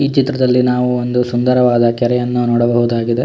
ಈ ಚಿತ್ರದಲ್ಲಿ ನಾವು ಒಂದು ಸುಂದರವಾದ ಕೆರೆಯನ್ನು ನೋಡಬಹುದಾಗಿದೆ.